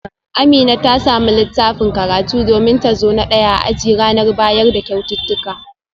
Amina ta samu littafin karatu domin ta zo na daya a aji a ranar bayar da kyaututtuka